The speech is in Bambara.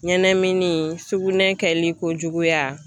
Ɲɛnɛmini, sukunɛ kɛli ko juguya.